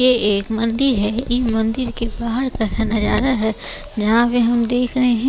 ये एक मंदिर है इन मंदिर के बाहर का नजारा है यहां पे हम देख रहे हैं।